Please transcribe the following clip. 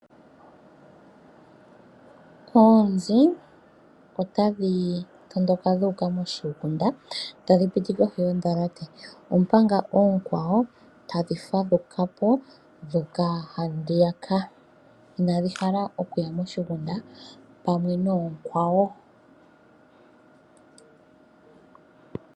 Oonzi otadhi tondoka dhuuka moshigunda tadhi piti kohi yondhalate, omanga oonkwawo tadhi hadhukapo dhuuka handi yaka inadhi hala okuya moshigunda pamwe noonkwawo.